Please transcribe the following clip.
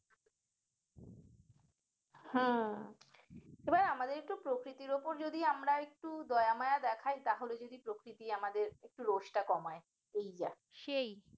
হম এবার আমাদের একটু প্রকৃতির ওপর যদি আমরা একটু দয়া মায়া দেখায় তাহলে যদি প্রকৃতি আমাদের একটু রোশটা কমায় এই যা সেই